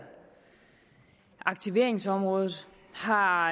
aktiveringsområdet har